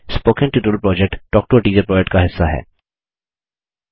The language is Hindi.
spoken tutorial project talk to a teacher project का हिस्सा है